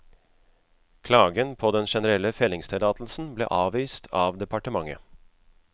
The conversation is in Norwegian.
Klagen på den generelle fellingstillatelsen ble avvist av departementet.